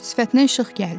Sifətinə işıq gəldi.